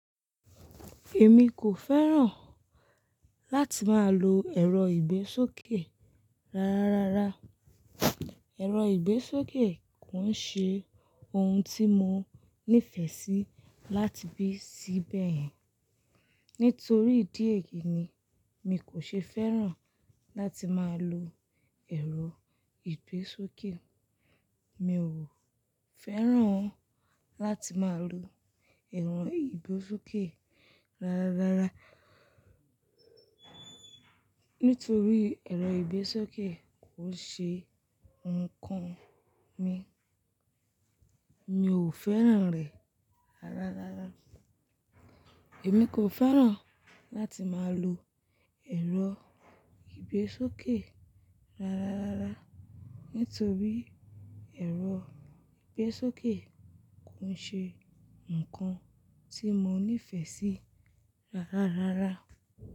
Èmi kò fẹ́ràn láti máa lo ẹ̀rọ ìgbésókè rárárárá. Ẹ̀rọ ìgbésókè kò ń ṣe ohun tí mo nífẹ̀ẹ́ sí láti bíi sí bẹ̀ yẹn. Nítorí ìdí èyí ni mi kò ṣe fẹ́ràn láti máa lo ẹ̀rọ ìgbésókè. Mi ò fẹ́ràn láti máa lo ẹ̀rọ ìgbésókè rárárárá, nítorí ẹ̀rọ ìgbésókè kò ṣe nǹkan mi. Mi ò fẹ́ràn rẹ̀ rárárárá. Èmi kò fẹ́ràn láti máa lo ẹ̀rọ ìgbésókè rárárárá, nítorí ẹ̀rọ ìgbésókè kò ń ṣe nǹkan tí mo nífẹ̀ẹ́ sí rárárárá.